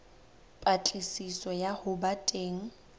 patlisiso ya ho ba teng